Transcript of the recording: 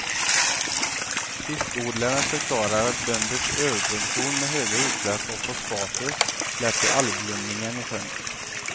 Fiskodlaren förklarar att bönders överproduktion med höga utsläpp av fosfater lett till algblomningen i sjön.